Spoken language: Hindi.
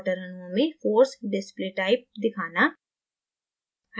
water अणुओं में force display type दिखाना